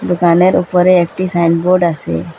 দোকানের উপরে একটি সাইনবোর্ড আসে।